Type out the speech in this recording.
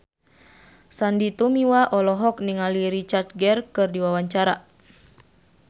Sandy Tumiwa olohok ningali Richard Gere keur diwawancara